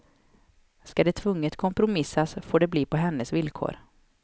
Ska det tvunget kompromissas får det bli på hennes villkor.